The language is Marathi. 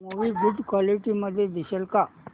मूवी गुड क्वालिटी मध्ये दिसेल का